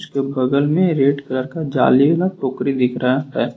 इसके बगल में रेड कलर का जाल वाला टोकरी दिख रहा है।